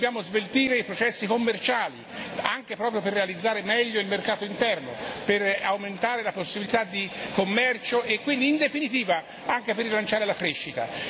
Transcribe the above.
Dobbiamo sveltire anche i processi commerciali proprio per realizzare meglio il mercato interno, per aumentare la possibilità di commercio e quindi, in definitiva, anche per rilanciare la crescita.